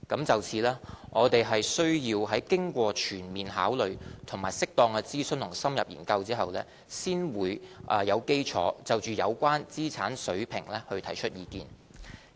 就此，我們需要在經過全面考慮，以及適當諮詢與深入研究後，才有基礎就有關資產額水平提出意見。